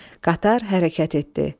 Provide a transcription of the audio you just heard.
Qatar hərəkət etdi.